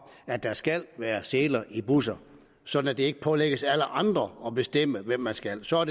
at der skal være seler i busser sådan at det ikke pålægges alle andre at bestemme hvad man skal og så er